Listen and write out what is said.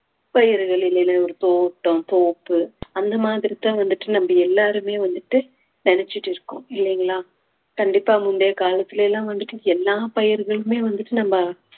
பயிர்கள் இல்லைனா ஒரு தோட்டம் தோப்பு அந்த மாதிரிதான் வந்துட்டு நம்ம எல்லாருமே வந்துட்டு நினைச்சிட்டு இருக்கோம் இல்லைங்களா கண்டிப்பா முந்தைய காலத்துலிலாம் எல்லாம் வந்துட்டு எல்லா பயிர்களுமே வந்துட்டு நம்ம